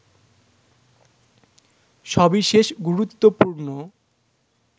সবিশেষ গুরুত্বপূর্ণ